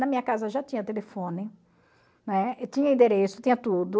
Na minha casa já tinha telefone, né, tinha endereço, tinha tudo.